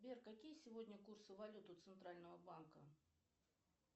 сбер какие сегодня курсы валют у центрального банка